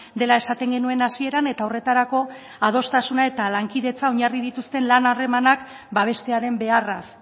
dela esaten genuen hasieran eta horretarako adostasuna eta lankidetza oinarri dituzten lan harremanak babestearen beharraz